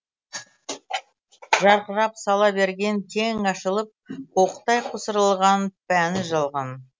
жарқырап сала берген кең ашылып қуықтай қусырылған пәни жалған